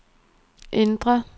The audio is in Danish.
indre